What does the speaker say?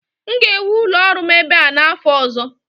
M ga-ewu ụlọ ọrụ m ebe a n'afọ ọzọ